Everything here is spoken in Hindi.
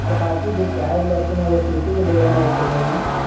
और बाकी जो प्याज लहसुन है वो सूती के बोड़े में रखे गए हैं।